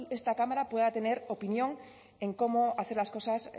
esta cámara pueda tener opinión en cómo hacer las cosas